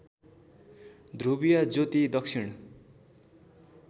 ध्रुवीय ज्योति दक्षिण